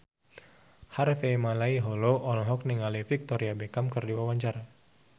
Harvey Malaiholo olohok ningali Victoria Beckham keur diwawancara